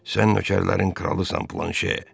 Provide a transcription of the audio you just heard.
Sən nökərlərin kralısan, Planşe.